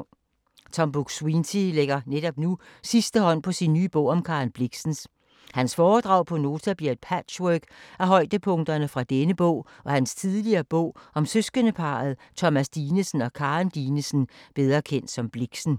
Tom Buk-Swienty lægger netop nu sidste hånd på sin nye bog om Karen Blixen. Hans foredrag på Nota, bliver et patchwork af højdepunkterne fra denne nye og hans tidligere bog om søskendeparret Thomas Dinesen og Karen Dinesen, bedre kendt som Blixen.